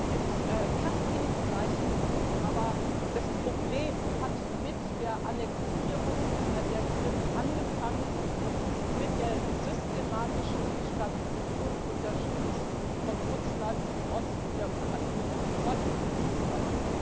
Es passt Ihnen vielleicht nicht, aber das Problem hat mit der Annektierung der Krim angefangen, und es ist mit der systematischen Destabilisierung, unterstützt von Russland, im Osten der Ukraine fortgesetzt worden.